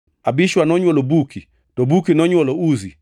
Abishua nonywolo Buki, to Buki nonywolo Uzi,